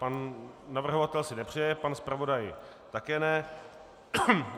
Pan navrhovatel si nepřeje, pan zpravodaj také ne.